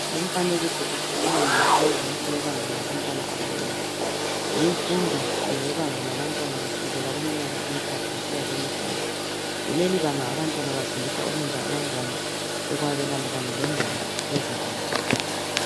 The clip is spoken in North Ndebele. Lumfanekiso ukhuluma ngemfundo yebanga labantwana abancane limfundo ngeyebanga labantwana kusukela kuminyaka emithathu kusiya kwemihlanu kuleli banga abantwana bafundiswa ukwenza abangane, ukwabelana kanye lengoma ezilula.